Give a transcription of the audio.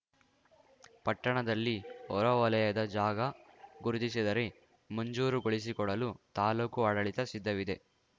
ಪಟ್ಟಣದಲ್ಲಿ ಹೊರವಲಯದ ಜಾಗ ಗುರುತಿಸಿದರೆ ಮಂಜೂರುಗೊಳಿಸಿಕೊಡಲು ತಾಲೂಕು ಆಡಳಿತ ಸಿದ್ಧವಿದೆ